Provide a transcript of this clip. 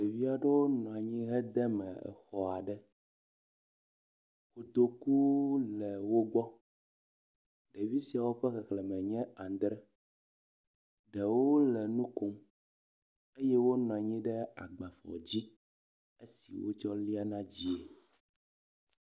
Ɖevi aɖewo nɔ anyi hede me xɔ aɖe. Kotoku le wogbɔ. Ɖevi siawo ƒe xexleme nye adre. Ɖewo le nu kom eye wonɔ anyi ɖe agbaflɔ dzi esi wotsɔ liana dzie.